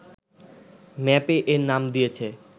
ম্যাপে এর নাম দিয়েছে